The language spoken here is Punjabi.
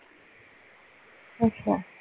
ਅੱਛਾ